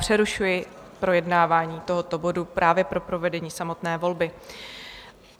Přerušuji projednávání tohoto bodu právě pro provedení samotné volby.